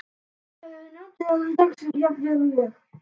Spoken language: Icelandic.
Ég vona þið njótið þessa dags jafn vel og ég.